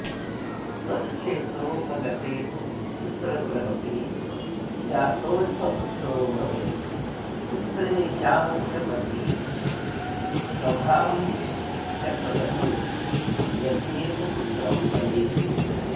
स्वक्षेत्रोपगते तु पुत्रगृहपे जातोऽल्पपुत्रो भवेत् पुत्रेशांशपतिः स्वभाम्शकगतो यद्येकपुत्रं वदेत्